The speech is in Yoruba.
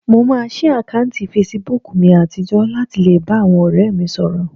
Mo máa ṣí àkáùntì fesibúùkù mi àtijọ́ láti lè bá àwọn ọ̀rẹ́ mi sọ̀rọ̀